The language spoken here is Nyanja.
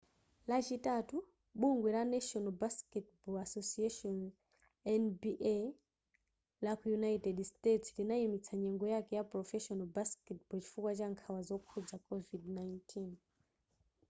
lachitatu bungwe la national basketball association nba laku united states linayimitsa nyengo yake ya professional basketball chifukwa cha nkhawa zokhudza covid-19